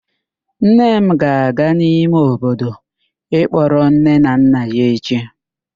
Nne m ga-aga n'ime obodo ịkpọrọ nne na nna ya echi.